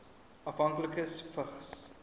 afhanklikes vigs